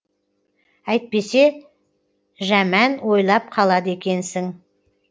әйтпесе жәмән ойлап қалады екенсің